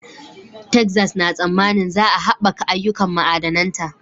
Texas na tsammanin za a haɓaka ayyukan ma'adananta